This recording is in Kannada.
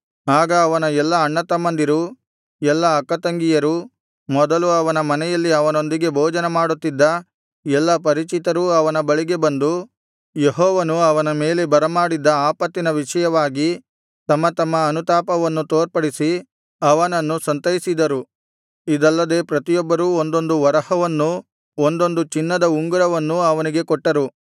ಆಗ ಅವನ ಎಲ್ಲಾ ಅಣ್ಣತಮ್ಮಂದಿರೂ ಎಲ್ಲಾ ಅಕ್ಕತಂಗಿಯರೂ ಮೊದಲು ಅವನ ಮನೆಯಲ್ಲಿ ಅವನೊಂದಿಗೆ ಭೋಜನಮಾಡುತ್ತಿದ್ದ ಎಲ್ಲಾ ಪರಿಚಿತರೂ ಅವನ ಬಳಿಗೆ ಬಂದು ಯೆಹೋವನು ಅವನ ಮೇಲೆ ಬರಮಾಡಿದ್ದ ಆಪತ್ತಿನ ವಿಷಯವಾಗಿ ತಮ್ಮ ತಮ್ಮ ಅನುತಾಪವನ್ನು ತೋರ್ಪಡಿಸಿ ಅವನನ್ನು ಸಂತೈಸಿದರು ಇದಲ್ಲದೆ ಪ್ರತಿಯೊಬ್ಬರೂ ಒಂದೊಂದು ವರಹವನ್ನೂ ಒಂದೊಂದು ಚಿನ್ನದ ಉಂಗುರವನ್ನೂ ಅವನಿಗೆ ಕೊಟ್ಟರು